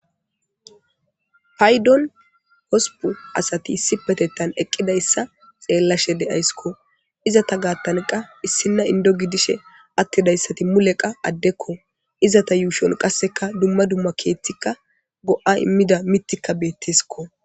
Payddon hosppi asati issippeteththan eqidayssa xelashe de'ayssikko. Izata garssan issina inddo gidishin atidayssati mulekka addekko. Izata yushshon dumma dumma keththika, dumma dumma go'a imiya miththaykka de'esikko.